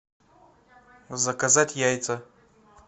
заказать яйца